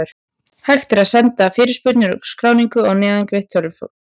Hægt er að senda fyrirspurnir og skráningu á neðangreint tölvupóstfang.